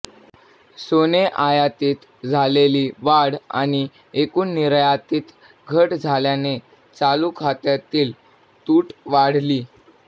सोने आयातीत झालेली वाढ आणि एकूण निर्यातीत घट झाल्याने चालू खात्यातील तूट वाढली